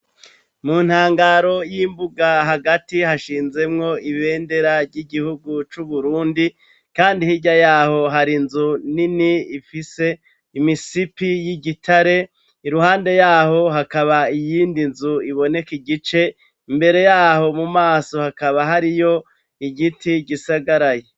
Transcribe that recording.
Mu ntangaro y'imbuga hagati hashinzemwo ibendera ry'igihugu c'Uburundi, kandi hirya yaho hari nzu nini ifise imisipi y'igitare iruhande yaho hakaba iyindi nzu iboneka igice imbere yaho mu maso hakaba hariyo igie ti gisagarayi.